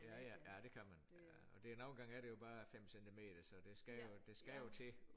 Ja ja ja det kan man og det nogen gange er det jo bare 5 centimeter så det skal jo det skal jo til